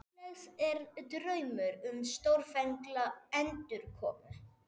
Útlegð er draumur um stórfenglega endurkomu.